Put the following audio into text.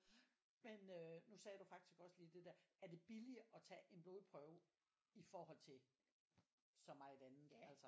Men øh nu sagde du faktisk også lige det der. Er det billigere at tage en blodprøve i forhold til så meget andet altså?